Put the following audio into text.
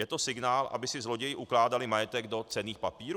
Je to signál, aby si zloději ukládali majetek do cenných papírů?